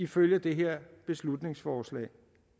ifølge det her beslutningsforslag